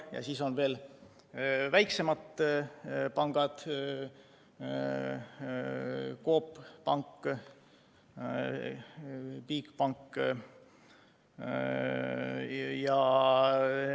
Peale nende on veel väiksemad pangad: Coop Pank, Bigbank.